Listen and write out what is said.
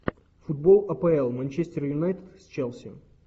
футбол апл манчестер юнайтед с челси